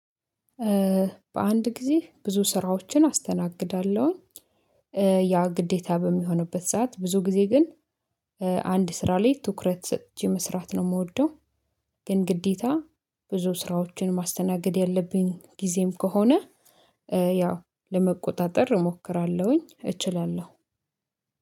በአንድ ጊዜ ብዙ ስራዎችን አስተናግዳለሁኝ። ያ ግዴታ በሚሆንበት ሰዓት ብዙ ጊዜ ግን አንድ ስራ ላይ ትኩረት ስጥቼ መስራት ነው የምወደው። ግን ግዴታ ብዙ ስራዎችን ማስተናገድ ያለብኝ ጊዜም ከሆነ ያው ለመቆጣጠር እሞክራለሁኝ። እችላለሁ።